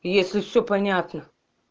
если все понятно